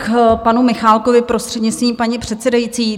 K panu Michálkovi, prostřednictvím paní předsedající.